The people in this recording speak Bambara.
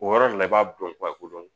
O yɔrɔ le la i b'a dɔn ko dɔn